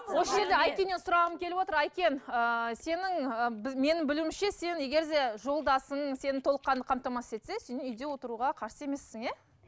осы жерде айкеннен сұрағым келіп отыр айкен ііі сенің ы менің білуімше сен егерде жолдасың сені толыққанды қамтамасыз етсе сен үйде отыруға қарсы емессің иә